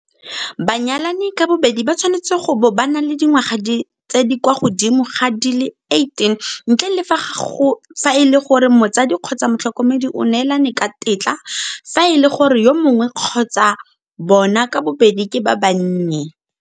Banyalani ka bobedi ba tshwanetse go bo ba na le dingwaga tse di kwa godimo ga di le 18, ntle le fa e le gore motsadi kgotsa motlhoko medi o neelane ka tetla fa e le gore yo mongwe kgotsa bona ka bobedi ke ba bannye.